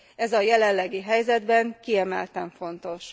Ez a jelenlegi helyzetben kiemelten fontos.